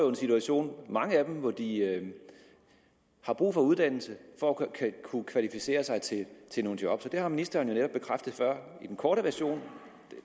en situation hvor de har brug for uddannelse for at kunne kvalificere sig til til nogle job og ministeren har jo netop bekræftet i den korte version